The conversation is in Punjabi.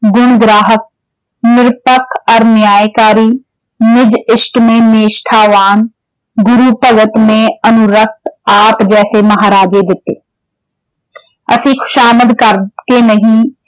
ਗੁਣ ਗ੍ਰਾਹਕ ਨਿਰਪੱਖ ਔਰ ਨਿਆਂਕਾਰੀ ਨਿਜ ਨਿਸ਼ਠਾਵਾਨ ਗੁਰੂ ਭਗਤ ਨੇ ਅਨੁਰਕਤ ਆਪ ਜੈਸੇ ਮਹਾਰਾਜੇ ਦਿੱਤੇ ਅਸੀਂ ਖੁਸ਼ਾਮਦ ਕਰਕੇ ਨਹੀਂ